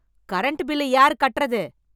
Current bill யார் கட்டறது?